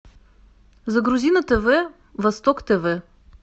загрузи на тв восток тв